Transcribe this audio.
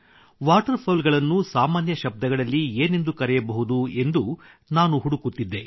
water fowl ಗಳನ್ನು ಸಾಮಾನ್ಯ ಶಬ್ದಗಳಲ್ಲಿ ಏನೆಂದು ಕರೆಯಬಹುದು ಎಂದು ನಾನು ಹುಡುಕುತ್ತಿದ್ದೆ